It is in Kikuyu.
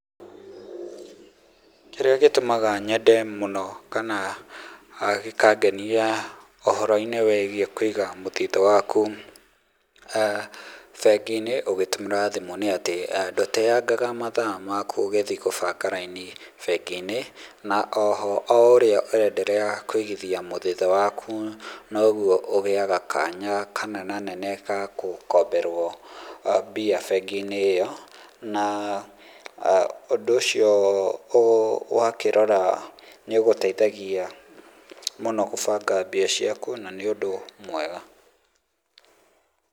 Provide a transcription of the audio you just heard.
Kĩrĩa gĩtũmaga nyende mũno kana gĩkangenia ũhoro-inĩ wĩgiĩ kũiga mũthithũ waku bengĩ-inĩ ũgĩtũmĩra thimũ nĩ atĩ ndũteyangaga mathaa maku ũgĩthiĩ gũbanga raini bengi-inĩ, na oho o ũrĩa ũrenderea kũigithia mũthithũ waku noguo ũgĩaga kanya kanenanene ga gũkomberwo mbia bengi-inĩ ĩyo, na ũndũ ũcio wakĩrora nĩ ũgũteithagia mũno gũbanga mbia ciaku na nĩ ũndũ mwega.